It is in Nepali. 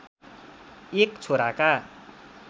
एक छोराका